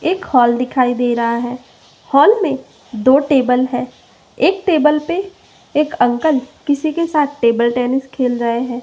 एक हॉल दिखाइ दे रहा हैं हॉल में दो टेबल है एक टेबल पे एक अंकल किसे के साथ टेबल टेनिस खेल रहें हैं।